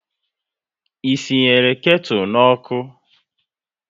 Ị sị nyere ketu n'ọkụ?